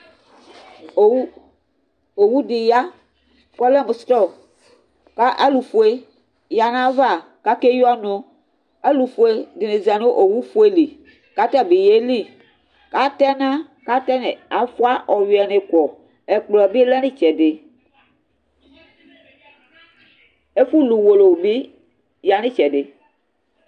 Owu owu dɩ ya kʋ ɔlɛ mʋ sɩɔp kʋ alʋfue ya nʋ ayava kʋ akeyi ɔnʋ Alʋfue dɩnɩ za nʋ owufue li kʋ ata bɩ yeli kʋ atɛ ɛna kʋ atɛnɛ afʋa ɔyʋɛnɩ kɔ Ɛkplɔ bɩ lɛ nʋ ɩtsɛdɩ Ɛfʋlu uwolowu bɩ ya nʋ ɩtsɛdɩ